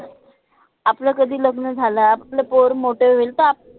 आपलं कधी लग्न झालं आपलं पोर मोटे होईल त आप